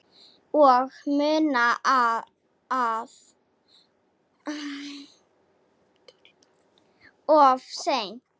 Og munað of seint.